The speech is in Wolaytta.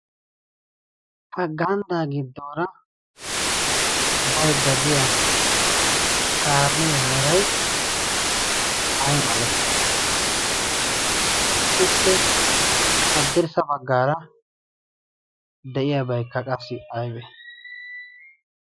pa ganddaa giddoora bai dadiya kaamee merai ai malati ? ippe addirssa baggaara de7iyaabaikka qassi aibe malati?